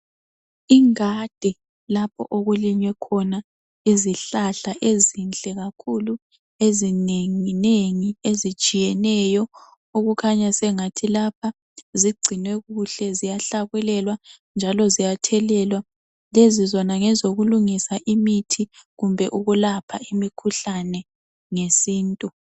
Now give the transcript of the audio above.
ingadi lapho okulinywe khona izihlahla ezinhle kakhulu ezinenginengi ezitshiyeneyo okukhanya sengathi lapha zigcinwe kuhle ziyahlakulelwa njalo ziyathelelwa lezi zona ngezokulungisa imithi kumbe ukulapha imkhuhlane ngesintu